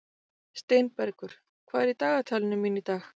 Steinbergur, hvað er í dagatalinu mínu í dag?